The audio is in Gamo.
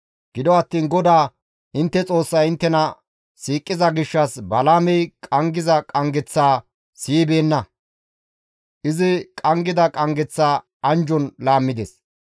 Gido attiin GODAA intte Xoossay inttena siiqiza gishshas Balaamey qanggiza qanggeththaa siyibeenna; izi qanggida qanggeththaa anjjon laammides.